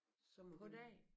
Så må det